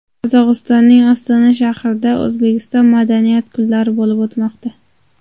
Qozog‘istonning Ostona shahrida O‘zbekiston madaniyat kunlari bo‘lib o‘tmoqda.